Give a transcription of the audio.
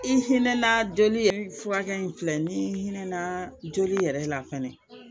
I hinɛ na joli ye furakɛli in filɛ ni hinɛ na joli yɛrɛ la fɛnɛ